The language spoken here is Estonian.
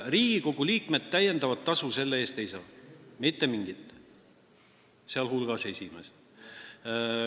Riigikogu liikmed täiendavat tasu selle eest ei saa, mitte mingit, ka mitte esimees.